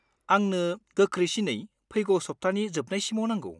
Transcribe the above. आंनो गोख्रैसिनै फैगौ सब्थानि जोबनायसिमाव नांगौ।